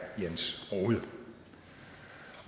jens rohde